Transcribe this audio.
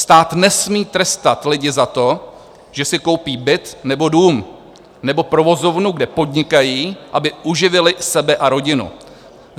Stát nesmí trestat lidi za to, že si koupí byt nebo dům nebo provozovnu, kde podnikají, aby uživili sebe a rodinu.